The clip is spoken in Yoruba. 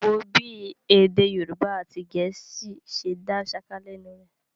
Wò ó bí èdè Yorùbá àti Gẹ̀ẹ́sì ṣe dá ṣáká lẹ́nu rẹ̀.